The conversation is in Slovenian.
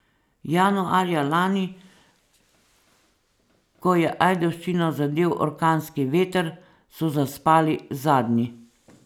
Januarja lani, ko je Ajdovščino zadel orkanski veter, so zaspali zadnji.